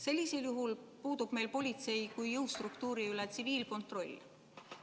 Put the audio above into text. Sellisel juhul puudub meil politsei kui jõustruktuuri üle tsiviilkontroll.